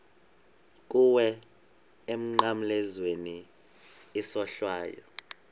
kuwe emnqamlezweni isohlwayo